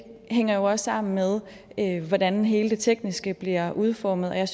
hænger jo også sammen med hvordan hele det tekniske bliver udformet jeg